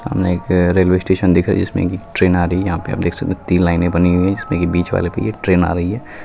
सामने एक railway station दिख है जिसमें ट्रेन आ रही है। यहाँ आप देख सकते तीन लाईने बनी हुयी है जिसमें की बीच वाले आ रही है।